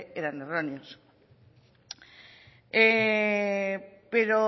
eran erróneos pero